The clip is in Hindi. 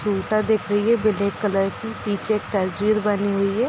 सुटर दिख रही है ब्लैक कलर की पीछे एक तस्वीर बनी हुई है।